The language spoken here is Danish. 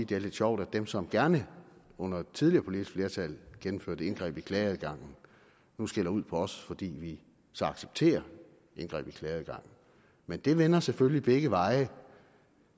det er lidt sjovt at dem som gerne under et tidligere politisk flertal gennemførte et indgreb i klageadgangen nu skælder ud på os fordi vi så accepterer indgreb i klageadgangen men det vender selvfølgelig begge veje